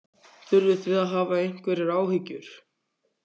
Þurfið þið að hafa einhverjar áhyggjur?